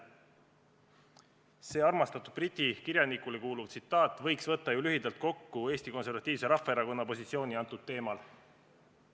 See ühele armastatud briti kirjanikule kuuluv mõte võikski lühidalt võtta kokku Eesti Konservatiivse Rahvaerakonna positsiooni praegusel teemal.